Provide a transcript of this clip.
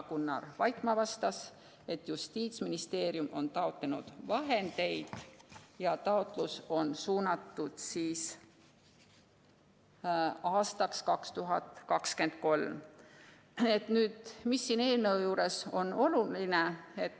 Gunnar Vaikmaa vastas, et Justiitsministeerium on taotlenud vahendeid ja taotlus on suunatud aastaks 2023. Mis on siin eelnõus oluline?